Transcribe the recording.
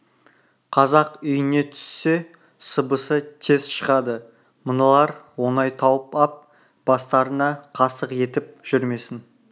қазақ үйіне түссе сыбысы тез шығады мыналар оңай тауып ап бастарына қастық етіп жүрмесін